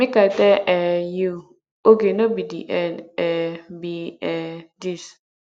make i tell um you oge no be the end um be um dis